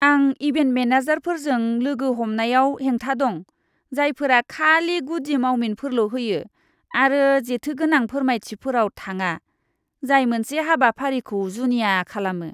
आं इभेन्ट मेनेजारफोरजों लोगो हमनायाव हेंथा दं, जायफोरा खालि गुदि मावमिनफोरल' होयो आरो जेथोगोनां फोरमायथिफोराव थाङा जाय मोनसे हाबाफारिखौ जुनिया खालामो।